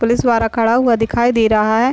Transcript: Police वाला खड़ा हुआ दिखाई दे रहा है।